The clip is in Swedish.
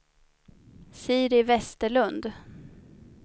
Siri Westerlund